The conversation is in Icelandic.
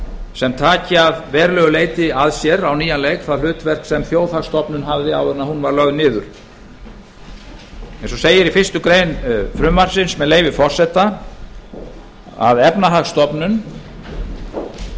sem taki að verulegu leyti að sér það hlutverk sem þjóðhagsstofnun hafði áður en hún var lögð niður eins og segir um efnahagsstofnun í fyrstu grein frumvarpsins með leyfi forseta hún skal